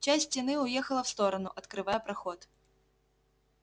часть стены уехала в сторону открывая проход